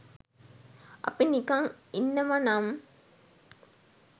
අපි නිකන් ඉන්නවනම්